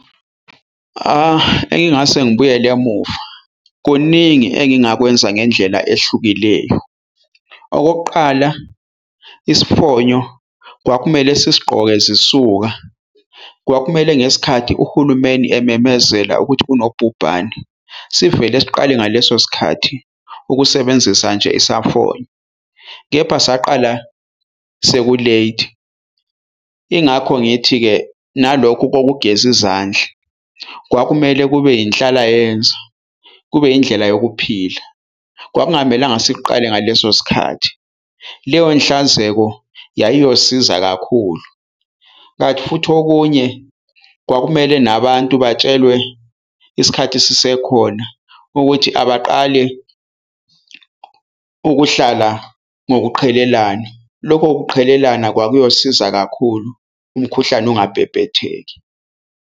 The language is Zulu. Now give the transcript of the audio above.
Engingase ngibuyele emuva kuningi engingakwenza ngendlela ehlukileyo. Okokuqala, isifonyo kwakumele sisigqoke zisuka kwakumele ngesikhathi uhulumeni ememezela ukuthi kunobhubhane, sivele siqale ngaleso sikhathi ukusebenzisa nje isamfonyo kepha saqala sekulethi. Ingakho ngithi-ke nalokhu kokugeza izandla kwakumele kube inhlalayenza, kube indlela yokuphila kwakungamelanga sikuqale ngaleso sikhathi. Leyo nhlanzeko yayiyosiza kakhulu kanti futhi okunye kwakumele nabantu batshelwe isikhathi sisekhona ukuthi abaqale ukuhlala ngokuqhelelana, lokho kuqhelelana kwakuyosiza kakhulu, umkhuhlane ungabhebhetheki.